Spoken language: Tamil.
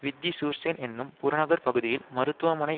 வித்திசூர்சேன் என்னும் புறநகர் பகுதியில் மருத்துவமனை